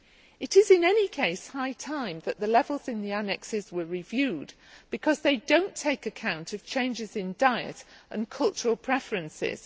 It is in any case high time that the levels in the annexes were reviewed, because they do not take account of changes in diet and cultural preferences.